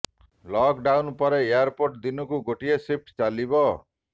lock down ପରେ airport ଦିନକୁ ଗୋଟିଏ ସିଫ୍ଟ ଚାଲିବ